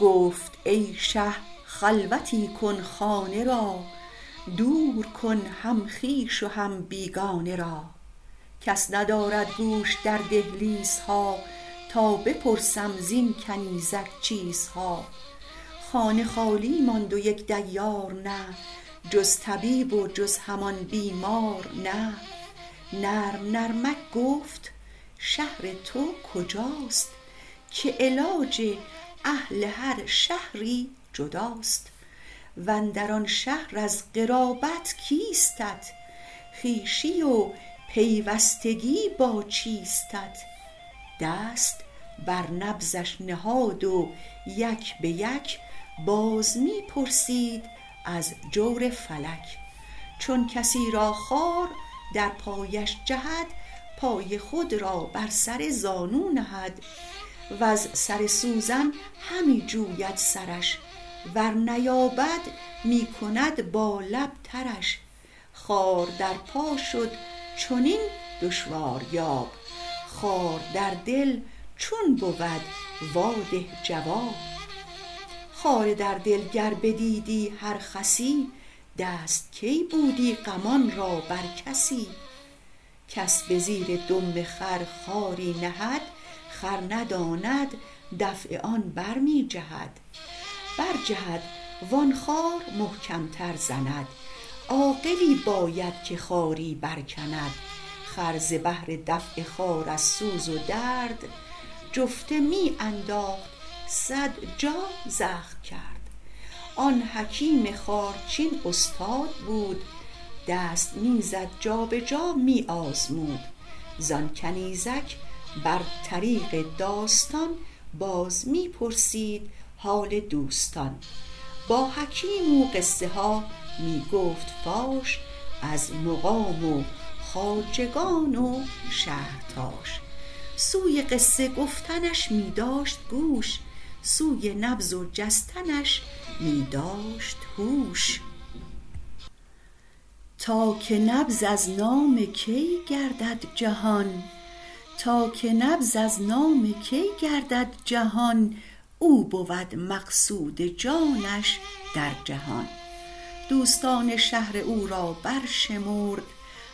گفت ای شه خلوتی کن خانه را دور کن هم خویش و هم بیگانه را کس ندارد گوش در دهلیزها تا بپرسم زین کنیزک چیزها خانه خالی ماند و یک دیار نه جز طبیب و جز همان بیمار نه نرم نرمک گفت شهر تو کجاست که علاج اهل هر شهری جداست واندر آن شهر از قرابت کیستت خویشی و پیوستگی با چیستت دست بر نبضش نهاد و یک بیک باز می پرسید از جور فلک چون کسی را خار در پایش جهد پای خود را بر سر زانو نهد وز سر سوزن همی جوید سرش ور نیابد می کند با لب ترش خار در پا شد چنین دشواریاب خار در دل چون بود وا ده جواب خار در دل گر بدیدی هر خسی دست کی بودی غمان را بر کسی کس به زیر دم خر خاری نهد خر نداند دفع آن برمی جهد برجهد وان خار محکم تر زند عاقلی باید که خاری برکند خر ز بهر دفع خار از سوز و درد جفته می انداخت صد جا زخم کرد آن حکیم خارچین استاد بود دست می زد جابجا می آزمود زان کنیزک بر طریق داستان باز می پرسید حال دوستان با حکیم او قصه ها می گفت فاش از مقام و خواجگان و شهر و باش سوی قصه گفتنش می داشت گوش سوی نبض و جستنش می داشت هوش تا که نبض از نام کی گردد جهان او بود مقصود جانش در جهان دوستان و شهر او را برشمرد